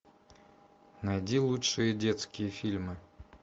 найди лучшие детские фильмы